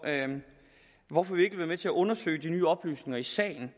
hvorfor vi ikke vil være med til at undersøge de nye oplysninger i sagen